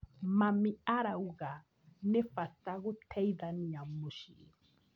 Mami arauga nĩ bata gũteithania mũciĩ.